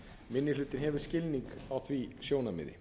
minni hlutinn hefur skilning á því sjónarmiði